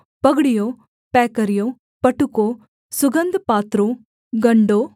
पगड़ियों पैकरियों पटुकों सुगन्धपात्रों गण्डों